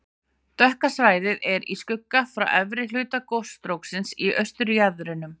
Dökka svæðið er í skugga frá efri hluta gosstróksins í austurjaðrinum.